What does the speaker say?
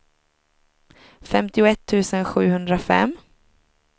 femtioett tusen sjuhundrafem